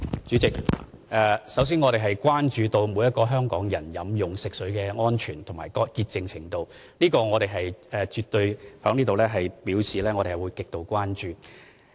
主席，首先，我們關注每一名香港人飲用食水的安全和潔淨程度，我絕對要在此表示我們對此是極度關注的。